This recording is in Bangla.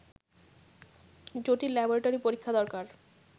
জটিল ল্যাবরেটরি পরীক্ষা দরকার